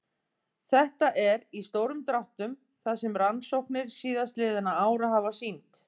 Þetta er, í stórum dráttum, það sem rannsóknir síðastliðinna ára hafa sýnt.